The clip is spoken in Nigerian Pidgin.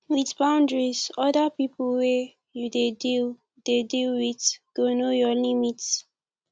with boundaries oda pipo wey you dey deal dey deal with go know your limit